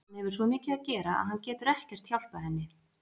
Hann hefur svo mikið að gera að hann getur ekkert hjálpað henni.